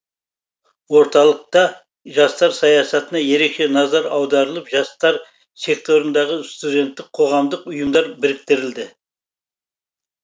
орталықта жастар саясатына ерекше назар аударылып жастар секторындағы студенттік қоғамдық ұйымдар біріктірілді